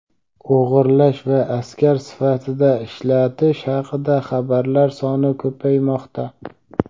o‘g‘irlash va askar sifatida ishlatish haqida xabarlar soni ko‘paymoqda.